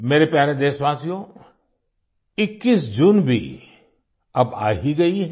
मेरे प्यारे देशवासियो 21 जून भी अब आ ही गई है